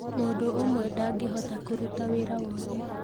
Mũndũ ũmwe ndangĩhota kũrũtaa wĩra wothe